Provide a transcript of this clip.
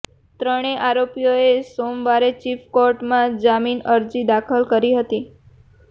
ત્રણેય આરોપીઓએ સોમવારે ચીફ કોર્ટમાં જામીન અરજી દાખલ કરી હતી